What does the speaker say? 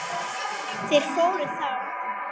Þeir fóru þá.